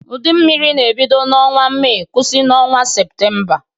Udu mmiri na-ebido n’ọnwa Mee kwụsị n’ọnwa Seputemba.